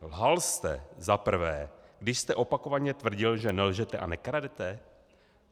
Lhal jste za prvé, když jste opakovaně tvrdil, že nelžete a nekradete?